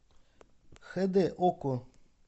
хд окко